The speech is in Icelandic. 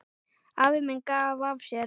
Afi minn gaf af sér.